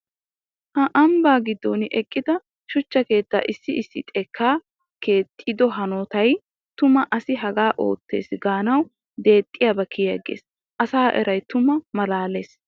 Ha ambba giduwan eqqidda shuchcha keetta issi issi xeekka keexxido hanotay tuma asi haga ootes gaanawu deexxiyaba kiyiigees. Asaa eray tumma malaales.